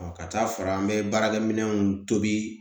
ka taa fara an bɛ baarakɛminɛnw tobi